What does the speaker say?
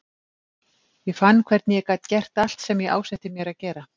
Ég fann hvernig ég gat gert allt sem ég ásetti mér að gera.